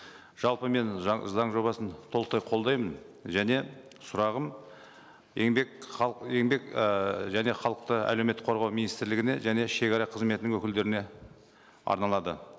жалпы мен заң жобасын толықтай қолдаймын және сұрағым еңбек еңбек ыыы және халықты әлеуметтік қорғау министрлігіне және шегара қызметінің өкілдеріне арналады